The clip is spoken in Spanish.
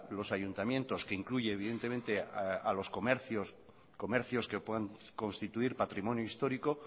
los ayuntamientos que incluye evidentemente a los comercios comercios que puedan constituir patrimonio histórico